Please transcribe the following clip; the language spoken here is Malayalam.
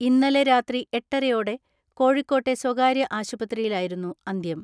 ഇന്നലെ രാത്രി എട്ടരയോടെ കോഴിക്കോട്ടെ സ്വകാര്യ ആശുപത്രിയിലായിരുന്നു അന്ത്യം.